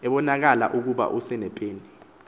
ebonakala ukuba useneepeni